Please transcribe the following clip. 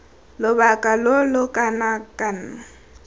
lobaka lo lo kana kang